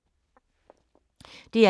DR1